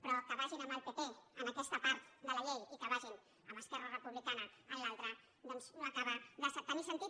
però que vagin amb el pp en aquesta part de la llei i que vagin amb esquerra republicana en l’altra doncs no acaba de tenir sentit